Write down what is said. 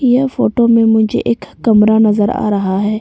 यह फोटो में मुझे एक कमरा नजर आ रहा है।